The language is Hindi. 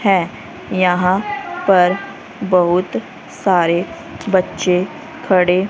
है यहां पर बहुत सारे बच्चे खड़े--